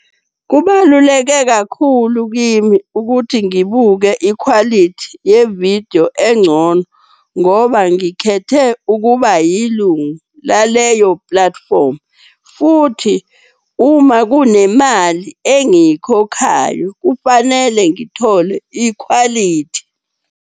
Kubaluleke kakhulu kimi ukuthi ngibuke ikhwalithi ye-video encono ngoba ngikhethe ukuba yilunga laleyo platform. Futhi uma kunemali engiyikhokhayo, kufanele ngithole ikhwalithi.